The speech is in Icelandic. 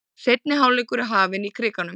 Seinni hálfleikur er hafinn í Krikanum